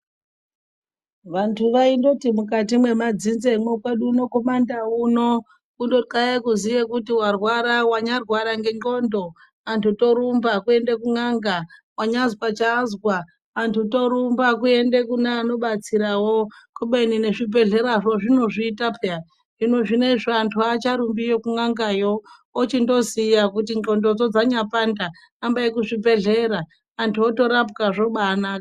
Vantu vaindoti mukati mwemadzinzemwo kwedu uno kumandau uno kundokaya kuziye kuti warwara wanyaarwara ngendxondo vantu torumba kuende kun'anga. Wanyaazwa chaaazwa antu torumba kuende kune anobetsirawo. Kubeni nezvibhehlerazvo zvinozviita peya. Hino zvinozvi antu haacharumbiyo kun'angayo ochindoziya kuti ndxondodzo dzanyaapanda, hambayi kuzvibhedhlera antu otorapwa zvobaanaka.